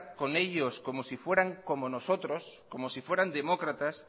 con ellos como si fueran como nosotros como si fueran demócratas